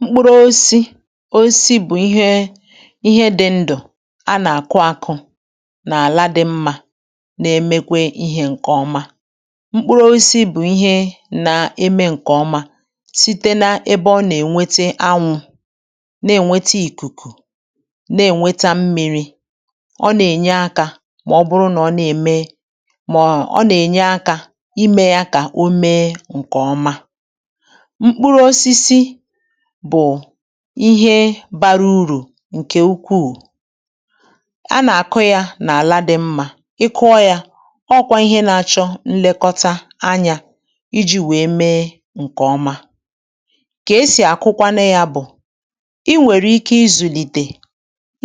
Mkpụrụ oisi oisi bụ̀ ihe ihe dị̇ ndụ̀ a nà-àkụ ȧkụ̇ nàla dị̇ mmȧ na-emekwe ihe ǹkè ọma. Mkpụrụ oisi bụ̀ ihe nȧ-eme ǹkè ọma site n’ebe ọ nà-ènwete anwụ̇, na-ènwete ìkùkù, na-ènweta mmịrị̇. Ọ nà-ènye akȧ mà ọ bụrụ nà ọ na-ème mà ọ nà-ènye akȧ imė yȧ kà o mee ǹkè ọma. Mkpụrụ̇osisi bụ̀ ihe bara urù ǹkè ukwuù, a nà-àkụ yȧ nà-àla dị̇ mmȧ. Ị kụọ yȧ, ọkwa ihe na-achọ nlekọta anyȧ iji̇ wee mee ǹkè ọma. Kà esì àkụkwanụ yȧ bụ̀, i nwèrè ike izùlìtè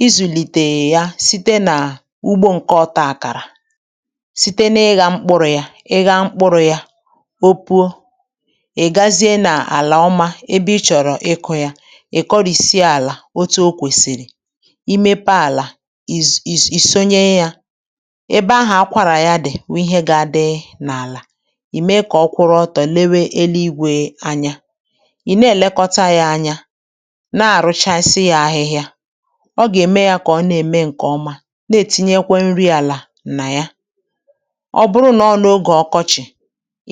izùlìtè yȧ site nà ugbo ǹkọ ọta àkàrà, site na ịgha mkpụrụ̇ yȧ. Ị ghaa mkpụrụ̇ yȧ, o puo, ị gazie na ala ọma ebe ị chọrọ ịkọ ya. Ị kọrìsie àlà otu o kwèsịrị, i mepe àlà, i̇su i̇sù ìsonye yȧ, ebe ahụ̀ akwàrà ya dị̀ wụ ihe gȧ dị n’àlà, ì mee kà ọ kwụrụ ọtọ̀ na-ele igwė anya, ị na-èlekọta yȧ anya, na-àrụchasị yȧ ahịhịȧ. Ọ gà-ème yȧ kà ọ na-ème ǹkè ọma, na-ètinyekwe nri àlà nà ya. Ọ bụrụ nọ n’ogè ọkọchị̀,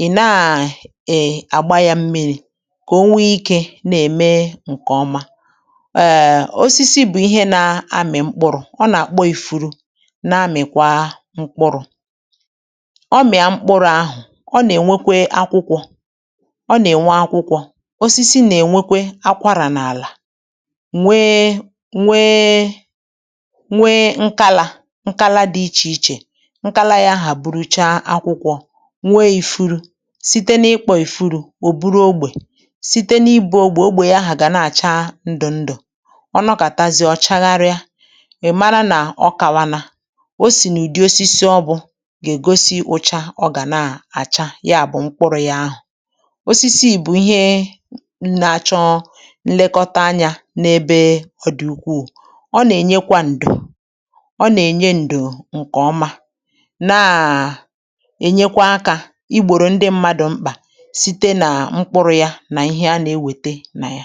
ị na-àgba yȧ mmiri̇ ǹkèọma, konwee ike na-eme nkeọma. um Osisi bụ̀ ihe na-amị̀ mkpụrụ̇, ọ nà-àkpọ ìfuru na-amị̀kwa mkpụrụ̇. Ọ mị̀a mkpụrụ̇ ahụ̀, ọ nà-ènwekwe akwụkwọ, ọ nà-ènwe akwụkwọ. Osisi nà-ènwekwe akwarà n’àlà nwee nwee nwee nkálà, nkálá dị ichè ichè, nkálá yȧ ahà bụrụchaa akwụkwọ, nwee ìfuru. Site n’ịkpọ̇ ìfuru, ò buru ogbè, site na-ibu ogbe, ogbe ya ahụ ga na-acha ndụ ndụ. Ọ nọkatazie, ọ chagharịa, ị mara na ọ kawala, o si n'ụdị osisi ọ bụ ga-egosi ụcha ọ ga na-acha yabụ mkpụrụ ya ahụ. Osisi bụ ihe na-achọ nlekọta anya ebe ọ dị ukwuu. Ọ nà-ènyekwa ǹdo, ọ na-enye ndo ǹkè ọma na enyekwa aka igboro ndị mmadụ mkpa site na mkpụrụ ya na ihe a na-ewète na ya.